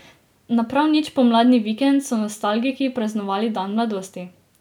Na prav nič pomladni vikend so nostalgiki praznovali dan mladosti.